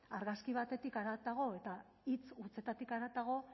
argazki batetik haratago eta hitz hutsetatik haratago